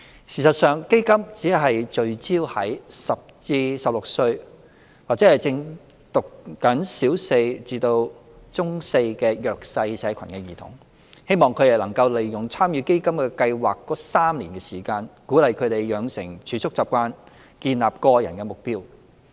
事實上，基金只聚焦於10至16歲或正就讀小四至中四的弱勢社群兒童，希望他們能夠利用參與基金計劃的3年時間，鼓勵他們養成儲蓄習慣和建立個人目標。